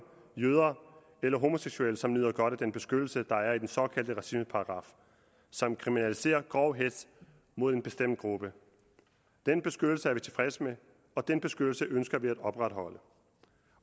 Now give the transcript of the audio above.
jøder og homoseksuelle som nyder godt af den beskyttelse der er i den såkaldte racismeparagraf som kriminaliserer grov hetz mod en bestemt gruppe den beskyttelse er vi tilfredse med og den beskyttelse ønsker vi at opretholde